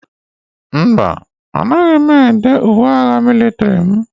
Mba, Anaghị m èdé uwe agha mịlịtrị m.